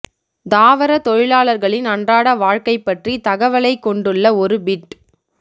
தாவர தொழிலாளர்களின் அன்றாட வாழ்க்கை பற்றி தகவலைக் கொண்டுள்ள ஒரு பிட்